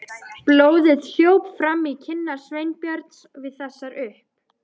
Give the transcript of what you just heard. Blóðið hljóp fram í kinnar Sveinbjörns við þessar upp